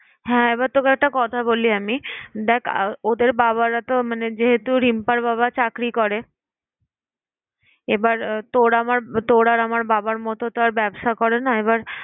হ্যাঁ এবার তোকে একটা কথা বলি আমি। দেখ আহ ওদের বাবারাতো মানে যেহেতু রিম্পার বাবা চাকরি করে, এবার আহ তোর আমার তোর আমার বাবার মত আর ব্যবসা করে না। এবার